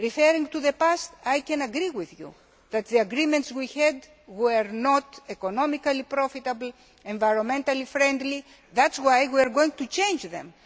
this. Referring to the past, I agree with you that the agreements we had were not economically profitable or environmentally friendly, and that is why we are going to change